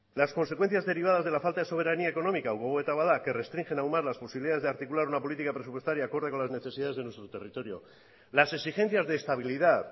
las consecuencias derivadas de la falta de soberanía económica gogoeta bat da que restringe aunar las posibilidades de articular una política presupuestaria acorde con las necesidades de nuestro territorio las exigencias de estabilidad